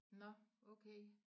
Nåh okay